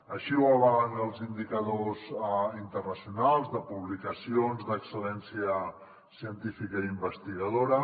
així ho avalen els indicadors internacionals de publicacions d’excel·lència científica i investigadora